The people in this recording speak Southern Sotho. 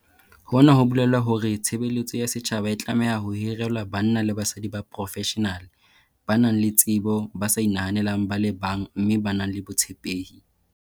Hona ho bolela hore tshe beletso ya setjhaba e tlameha ho hirelwa banna le basadi ba profeshenale, ba nang le tsebo, ba sa inahaneleng ba le bang mme ba nang le botshepehi.